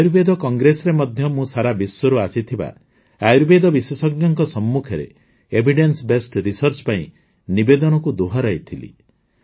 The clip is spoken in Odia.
ଆୟୁର୍ବେଦ କଂଗ୍ରେସରେ ମଧ୍ୟ ମୁଁ ସାରା ବିଶ୍ୱରୁ ଆସିଥିବା ଆୟୁର୍ବେଦ ବିଶେଷଜ୍ଞଙ୍କ ସମ୍ମୁଖରେ ଏଭିଡେନ୍ସ ବେସ୍ଡ ରିସର୍ଚ୍ଚ ପାଇଁ ନିବେଦନକୁ ଦୋହରାଇଥିଲି